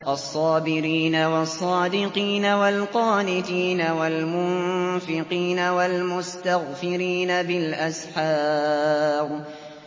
الصَّابِرِينَ وَالصَّادِقِينَ وَالْقَانِتِينَ وَالْمُنفِقِينَ وَالْمُسْتَغْفِرِينَ بِالْأَسْحَارِ